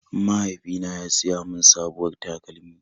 Mahaifina ya siya mun sabuwar takalmi.